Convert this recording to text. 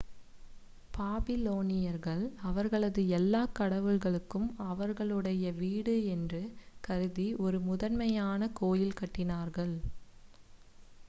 பாபிலோனியர்கள் அவர்களது எல்லாக் கடவுள்களுக்கும் அவர்களுடைய வீடு என்று கருதி ஒரு முதன்மையான கோயில் கட்டினார்கள்